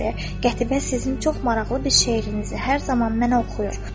Qətibə sizin çox maraqlı bir şeirinizi hər zaman mənə oxuyur.